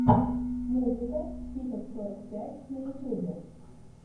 музыка хикок сорок пять на ютубе